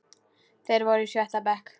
Þeir voru í sjötta bekk.